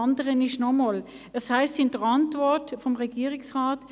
Zudem heisst es in der Antwort des Regierungsrates: